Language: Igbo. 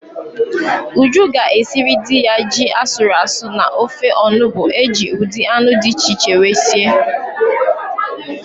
Uju ga-esiri di ya ji asụrụ asụ na ofe onubu eji ụdị anụ di iche iche wee sie